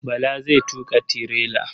Bala zai tuƙa tirela.